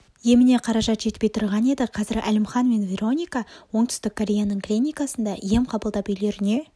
еміне қаражат жетпей тұрған еді қазір әлімхан мен вероника оңтүстік кореяның клиникасында ем қабылдап үйлеріне